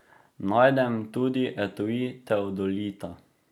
Najdem tudi etui teodolita.